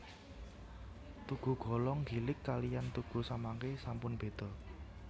Tugu Golong Gilig kaliyan tugu samangke sampun beda